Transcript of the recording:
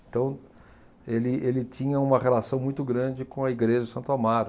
Então, ele ele tinha uma relação muito grande com a igreja de Santo Amaro.